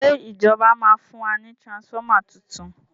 ṣe ìjọba ma fún wa ní transformer títún?